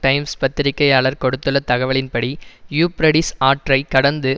times பத்திரிகையாளர் கொடுத்துள்ள தகவலின்படி யூப்ரடிஸ் ஆற்றை கடந்து